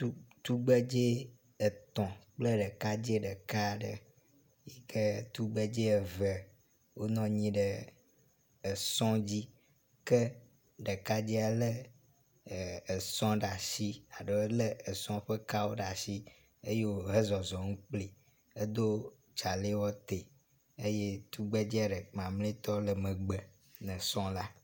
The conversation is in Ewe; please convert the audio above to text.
Tu tugbedze etɔ̃ kple ɖekadze ɖeka aɖe yi ke tugbedze eve wonɔ anyi ɖe esɔ dzi ke ɖeka ɖekadzea le e esɔ ɖe asi aɖo le esɔ ƒe kawo ɖe asi eye wohe zɔzɔm kpli edo tsalewɔtɛ eye tugbedzea ɖe mamletɔ le megbe lne sɔ la.